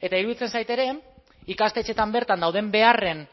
eta iruditzen zait ere ikastetxeetan bertan dauden beharren